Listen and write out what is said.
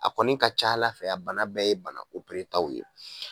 A kɔni ka c'Ala fɛ a bana bɛɛ ye bana taw ye.